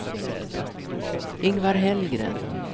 Ingvar Hellgren